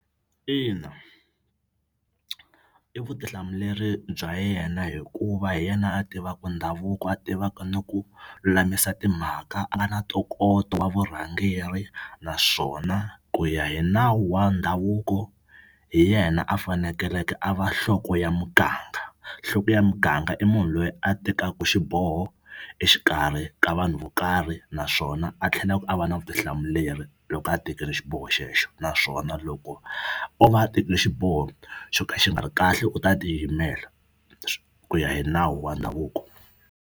Ina i vutihlamuleri bya yena hikuva hi yena a tivaka ndhavuko a tivaka na ku lulamisa timhaka a nga na ntokoto wa vurhangeri naswona ku ya hi nawu wa ndhavuko hi yena a fanekeleke a va nhloko ya muganga nhloko ya muganga i munhu loyi a tekaku xiboho exikarhi ka vanhu vo karhi naswona a tlhelaku a va na vutihlamuleri loko a tekile xiboho xexo naswona loko o va a tekile xiboho xo ka xi nga ri kahle u ta tiyimela ku ya hi nawu wa ndhavuko.